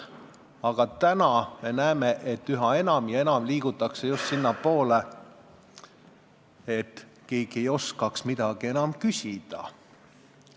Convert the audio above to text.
Aga praegu me näeme, et üha enam ja enam liigutakse just sinnapoole, et keegi ei oskakski midagi küsida.